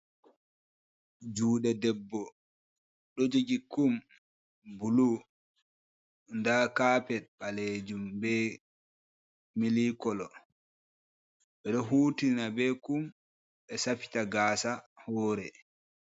Juɗe debbo ɗo jogi kum bulu nda kapet ɓalejum be milik kolo. Ɓedo hutina be kum ɓe safita gasa hore.